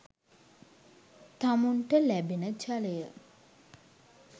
තමුන්ට ලැබෙන ජලය